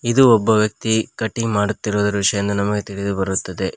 ಇದು ಒಬ್ಬ ವ್ಯಕ್ತಿ ಕಟಿಂಗ್ ಮಾಡುತ್ತಿರುವ ದೃಶ್ಯ ಎಂದು ನಮಗೆ ತಿಳಿದು ಬರುತ್ತದೆ.